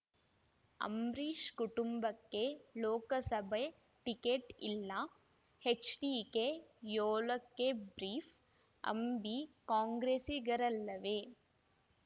ಅಂಬರೀಷ್‌ ಕುಟುಂಬಕ್ಕೆ ಲೋಕಸಭೆ ಟಿಕೆಟ್‌ ಇಲ್ಲ ಎಚ್‌ಡಿಕೆ ಏಳಕ್ಕೆ ಬ್ರೀಫ್‌ ಅಂಬಿ ಕಾಂಗ್ರೆಸ್ಸಿಗರಲ್ಲವೇ